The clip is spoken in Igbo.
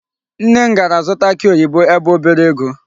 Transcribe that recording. Nne m gara zụta akị oyibo ebe o bere ego.